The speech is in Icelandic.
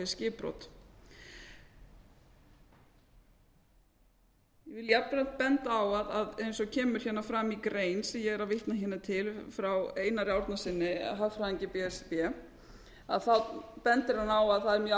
ég vil jafnframt benda á að eins og kemur síðan fram í grein sem ég er að vitna hérna til frá einari árnasyni hagfræðingi b s r b þá bendir hann á að það er mjög